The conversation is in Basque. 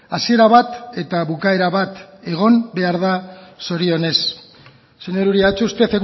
hasiera bat eta bukaera bat egon behar da zorionez señor uria ha hecho usted